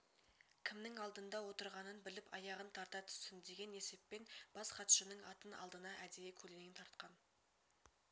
кімнің алдында отырғанын біліп аяғын тарта түссін деген есеппен бас хатшының атын алдына әдейі көлденең тартқан